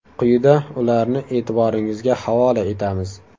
Quyida ularni e’tiboringizga havola etamiz.